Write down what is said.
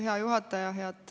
Hea juhataja!